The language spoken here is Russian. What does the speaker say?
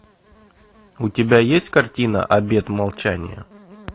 у тебя есть картина обет молчания